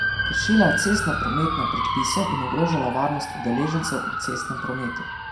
Kršila je cestnoprometne predpise in ogrožala varnost udeležencev v cestnem prometu.